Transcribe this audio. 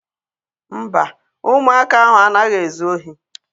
Mba, ụmụaka ahụ anaghị ezu ohi.